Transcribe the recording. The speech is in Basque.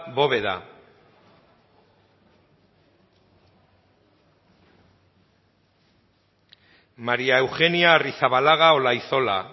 bóveda maría eugenia arrizabalaga olaizola